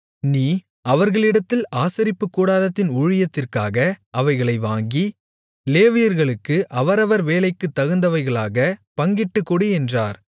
நீ அவர்களிடத்தில் ஆசரிப்புக் கூடாரத்தின் ஊழியத்திற்காக அவைகளை வாங்கி லேவியர்களுக்கு அவரவர் வேலைக்குத் தகுந்தவைகளாகப் பங்கிட்டுக் கொடு என்றார்